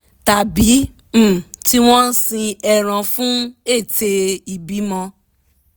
tàbí um tí wọ́n sin ẹran fún ète ìbímọ